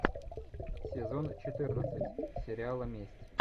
сезон четырнадцать сериала месть